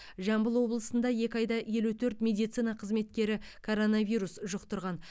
жамбыл облысында екі айда елу төрт медицина қызметкері коронавирус жұқтырған